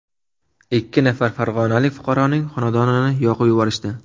Ikki nafar farg‘onalik fuqaroning xonadonini yoqib yuborishdi.